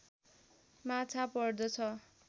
माछा पर्दछ